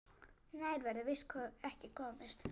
Nær verður víst ekki komist.